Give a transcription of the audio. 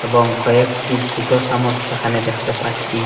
এবং কয়েকটি ছুটো সমস্যা এখানে দেখতে পাচ্ছি।